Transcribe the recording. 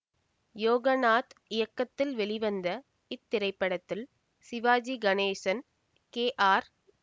யோகநாத் இயக்கத்தில் வெளிவந்த இத்திரைப்படத்தில் சிவாஜி கணேசன் கே ஆர்